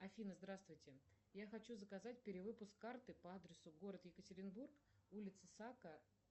афина здравствуйте я хочу заказать перевыпуск карты по адресу город екатеринбург улица сака